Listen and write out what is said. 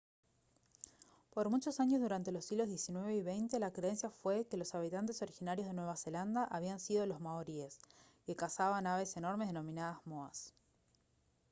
por muchos años durante los siglos xix y xx la creencia fue que los habitantes originarios de nueva zelanda habían sido los maoríes que cazaban aves enormes denominadas moas